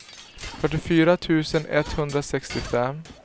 fyrtiofyra tusen etthundrasextiofem